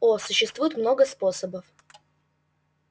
о существует много способов